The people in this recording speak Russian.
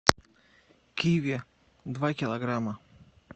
киви два килограмма